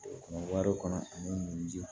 Wari kɔnɔ ani mun ji